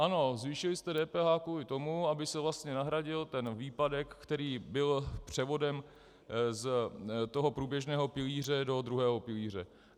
Ano, zvýšili jste DPH kvůli tomu, aby se vlastně nahradil ten výpadek, který byl převodem z toho průběžného pilíře do druhého pilíře.